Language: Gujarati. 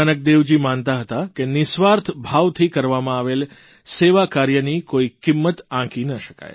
ગુરૂ નાનકદેવજી માનતા હતા કે નિઃસ્વાર્થ ભાવથી કરવામાં આવેલા સેવાકાર્યની કોઇ કિંમત આંકી ન શકાય